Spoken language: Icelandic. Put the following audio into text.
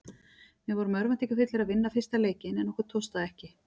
Við vorum örvæntingarfullir að vinna fyrsta leikinn en okkur tókst það ekki.